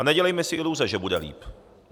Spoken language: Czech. A nedělejme si iluze, že bude líp!